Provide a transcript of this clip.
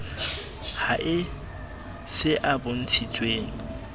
ha e se a bontshitsweng